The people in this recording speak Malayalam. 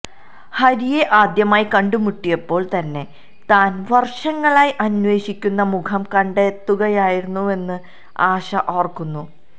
ഹരിയെ ആദ്യമായി കണ്ടുമുട്ടിയപ്പോള് തന്നെ താന് വര്ഷങ്ങളായി അന്വേഷിക്കുന്ന മുഖം കണ്ടെത്തുകയായിരുന്നുവെന്ന് ആശ ഓര്ക്കുന്നു